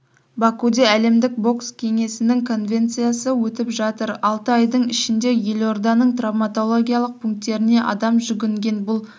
бакуде әлемдік бокс кеңесінің конвенциясы өтіп жатыр алты айдың ішінде елорданың травматологиялық пунктеріне адам жүгінген бұл